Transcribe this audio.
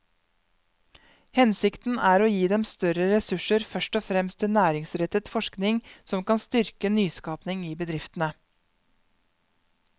Hensikten er å gi dem større ressurser først og fremst til næringsrettet forskning som kan styrke nyskaping i bedriftene.